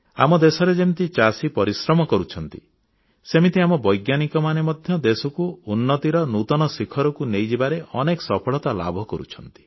ଆମ ଦେଶରେ ଯେମିତି ଚାଷୀ ପରିଶ୍ରମ କରୁଛନ୍ତି ସେମିତି ଆମ ବୈଜ୍ଞାନିକମାନେ ମଧ୍ୟ ଦେଶକୁ ଉନ୍ନତିର ନୂତନ ଶିଖରକୁ ନେଇଯିବାରେ ଅନେକ ସଫଳତା ଲାଭ କରୁଛନ୍ତି